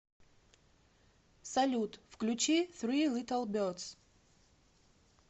салют включи фри литл бердс